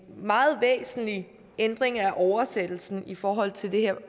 meget væsentlig ændring af oversættelsen i forhold til det her